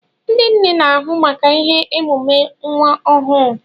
Ndị nne n'ahụ maka ihe emume nwa ọhụụ.